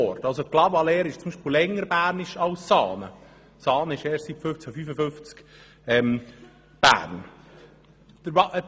Clavaleyres ist somit länger bernisch als beispielsweise Saanen, das erst 1555 zu Bern kam.